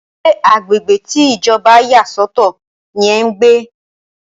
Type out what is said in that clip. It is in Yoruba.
Ṣé agbègbè tí Ìjọba yà sọ̀tọ̀ ní ẹ́ ń gbé?